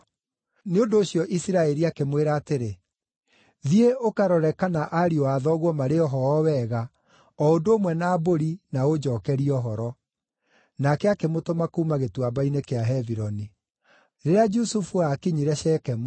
Nĩ ũndũ ũcio Isiraeli akĩmwĩra atĩrĩ, “Thiĩ ũkarore kana ariũ a thoguo marĩ o ho o wega, o ũndũ ũmwe na mbũri, na ũnjookerie ũhoro.” Nake akĩmũtũma kuuma Gĩtuamba-inĩ kĩa Hebironi. Rĩrĩa Jusufu aakinyire Shekemu,